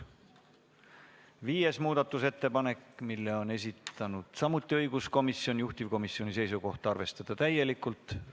Viienda muudatusettepaneku on samuti esitanud õiguskomisjon, juhtivkomisjoni seisukoht on arvestada seda täielikult.